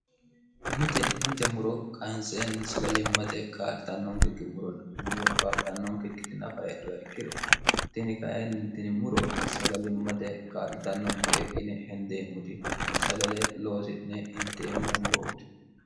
itemite muro kayinseenni sagalimmate kalitannonkekki muronni muro kaalitannonkekkitinafa hedhowe ikkiro tini kainni tini muro sagalimmate kaa'litannonke ine hendeemmoti sagale loosi'ne inteemmo murooti